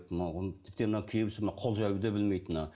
тіптен мынау кейбіреуісі мына қол жаюды да білмейді мына